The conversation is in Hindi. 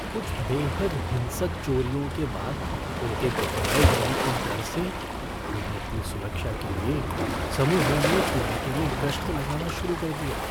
कुछ बेहद हिंसक चोरियों के बाद उनके दोहराए जाने के डर से हमने अपनी सुरक्षा के लिए समूहों में इलाके में गश्त लगाना शुरू कर दिया।